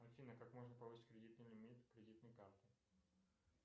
афина как можно повысить кредитный лимит кредитной карты